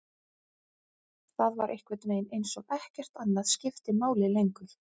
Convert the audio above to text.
Það var einhvernveginn eins og ekkert annað skipti máli lengur.